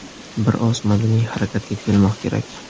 Bir oz madaniy harakatga kelmoq kerak.